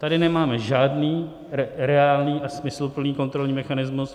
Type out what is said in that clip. Tady nemáme žádný reálný a smysluplný kontrolní mechanismus.